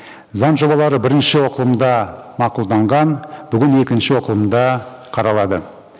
заң жобалары бірінші оқылымда мақұлданған бүгін екінші оқылымда қаралады